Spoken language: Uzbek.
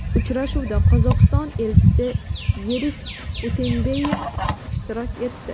Uchrashuvda Qozog‘iston elchisi Yerik Utembayev ishtirok etdi.